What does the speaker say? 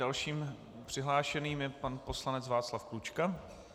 Dalším přihlášeným je pan poslanec Václav Klučka.